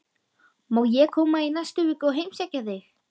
Má ég koma í næstu viku og heimsækja þig?